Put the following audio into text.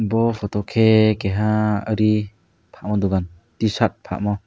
bo photo khe keha nini ri phalma dukan tshirt phalmo.